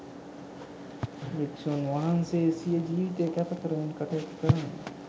භික්‍ෂූන් වහන්සේ සිය ජීවිතය කැප කරමින් කටයුතු කරන්නේ